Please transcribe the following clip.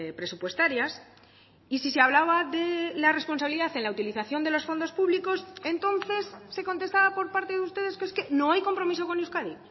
presupuestarias y si se hablaba de la responsabilidad en la utilización de los fondos públicos entonces se contestaba por parte de ustedes que es que no hay compromiso con euskadi